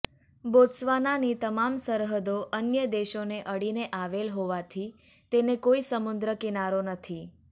બોત્સવાનાની તમામ સરહદો અન્ય દેશોને અડીને આવેલ હોવાથી તેને કોઇ સમુદ્ર કિનારો નથી